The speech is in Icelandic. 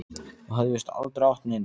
Og hafði víst aldrei átt neina.